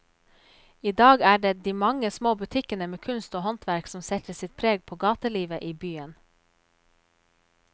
I dag er det de mange små butikkene med kunst og håndverk som setter sitt preg på gatelivet i byen.